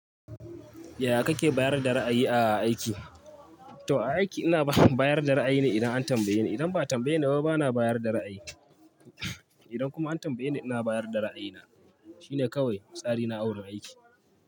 Yaya kake bayar da ra'ayi a aiki? To a aiki ina bayar da ra'ayi ne idan an tambaye ni. Idan ba a tambaye ni ba bana bayar da ra'ayi. Idan kuma an tambaye ni ina bayar da ra'ayina. Shine kawai tsari na a wurin aiki.